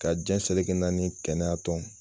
Ka jɛn seleke naani kɛnɛya tɔnw